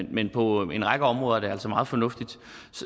men på en række områder er det altså meget fornuftigt